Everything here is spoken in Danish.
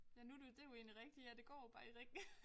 Ja nu du det jo egentlig rigtigt ja det går jo bare i ring